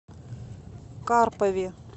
карпове